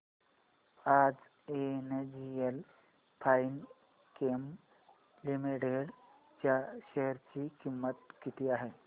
आज NGL Finechem limited च्या share ची किंमत किती आहे